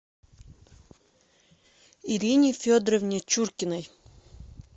ирине федоровне чуркиной